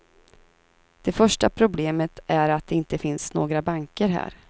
Det första problemet är att det inte finns några banker här.